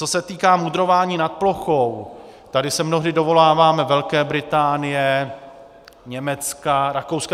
Co se týká mudrování nad plochou, tady se mnohdy dovoláváme Velké Británie, Německa, Rakouska.